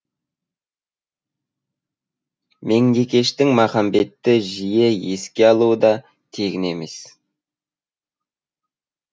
меңдекештің махамбетті жие еске алуы да тегін емес